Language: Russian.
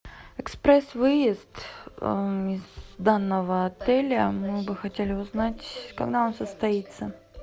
экспресс выезд из данного отеля мы бы хотели узнать когда он состоится